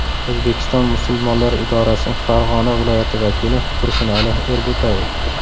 O‘zbekiston musulmonlari idorasi Farg‘ona viloyati vakili Tursunali Erbo‘tayev.